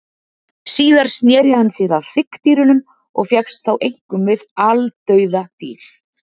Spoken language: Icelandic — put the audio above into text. Síðar sneri hann sér að hryggdýrunum og fékkst þá einkum við aldauða dýr.